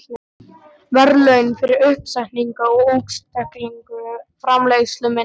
verðlaun fyrir uppsetningu og útstillingu framleiðslu minnar.